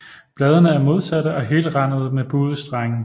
Bladene er modsatte og helrandede med buede strenge